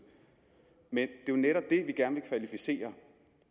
men det jo netop det vi gerne vil kvalificere